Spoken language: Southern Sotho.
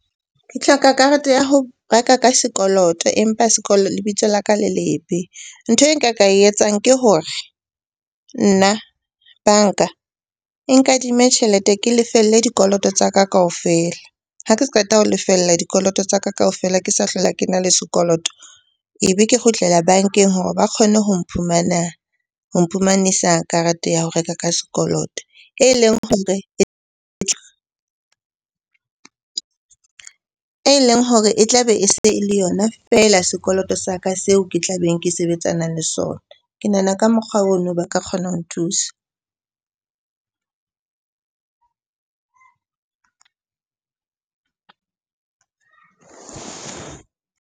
Ke hloka karete ya ho reka ka sekoloto empa lebitso la ka le lebe. Ntho e nka ka e etsang ke hore nna banka e nkadime tjhelete ke lefelle dikoloto tsa ka kaofela. Ha ke qeta ho lefella dikoloto tsa ka kaofela, ke sa hlola ke na le sekoloto. Ebe ke kgutlela bankeng hore ba kgone ho mphumanisa karete ya ho reka ka sekoloto e leng hore, e leng hore e tla be e se e le yona feela sekoloto sa ka seo ke tla beng ke sebetsanang le sona. Ke nahana ka mokgwa ono ba ka kgona ho nthusa.